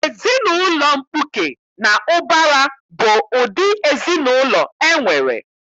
Ezinaụlọ mkpuke na ụbara bụ ụdị ezinaụlọ enwere.